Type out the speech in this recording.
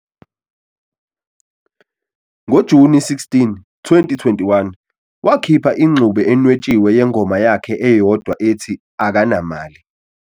NgoJuni 16, 2021, wakhipha ingxube enwetshiwe yengoma yakhe eyodwa ethi "Akanamali".